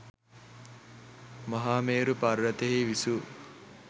මහාමේරු පර්වතයෙහි විසූ